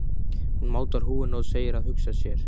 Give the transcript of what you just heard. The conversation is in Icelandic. Hún mátar húfuna og segir að hugsa sér.